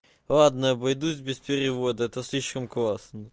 ладно обойдусь без перевода это слишком классно